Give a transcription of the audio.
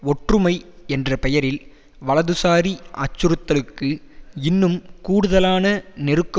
ஒற்றுமை என்ற பெயரில் வலதுசாரி அச்சுறுத்தலுக்கு இன்னும் கூடுதலான நெருக்க